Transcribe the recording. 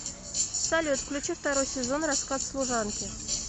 салют включи второй сезон рассказ служанки